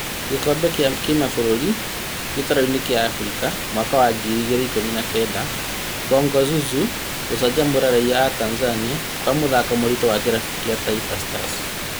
Gĩkombe gĩa kĩmabũrũri gĩtaro-inĩ kĩa Afrika mwaka wa ngiri igĩrĩ ikũmi na kenda: Bongo Zozo gũcanjamũra raiya atanzania kwa mũthako mũritũ wa kĩrabu kĩa Taifa Stars